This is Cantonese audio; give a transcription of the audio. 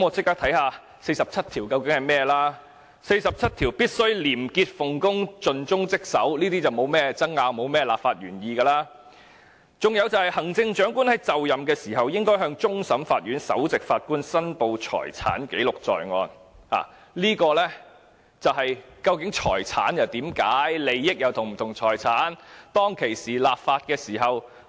第四十七條訂明特首"必須廉潔奉公、盡忠職守"，這些立法原意沒有甚麼可以爭拗，還訂明"行政長官就任時，應向香港特別行政區終審法院首席法官申報財產，記錄在案"，就是要解釋財產，利益與財產又是否相同？